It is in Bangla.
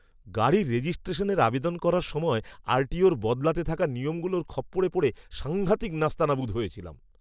গাড়ি রেজিস্ট্রেশনের আবেদন করার সময় আরটিওর বদলাতে থাকা নিয়মগুলোর খপ্পরে পড়ে সাংঘাতিক নাস্তানাবুদ হয়েছিলাম।